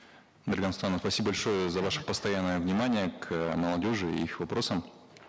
дарига нурсултановна спасибо большое за ваше постоянное внимание к молодежи и их вопросам